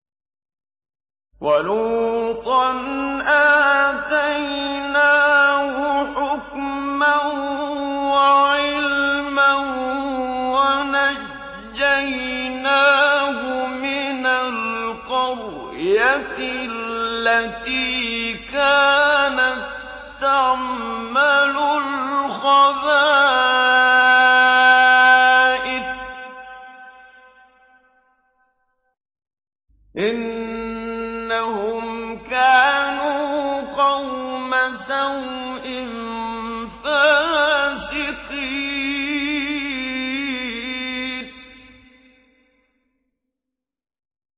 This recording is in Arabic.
وَلُوطًا آتَيْنَاهُ حُكْمًا وَعِلْمًا وَنَجَّيْنَاهُ مِنَ الْقَرْيَةِ الَّتِي كَانَت تَّعْمَلُ الْخَبَائِثَ ۗ إِنَّهُمْ كَانُوا قَوْمَ سَوْءٍ فَاسِقِينَ